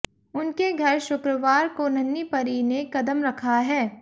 उनके घर शुक्रवार को नन्हीं परी ने कदम रखा है